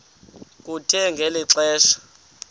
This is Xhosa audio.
kuthe ngeli xesha